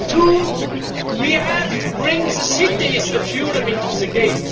Second, we have to bring the cities of Europe into the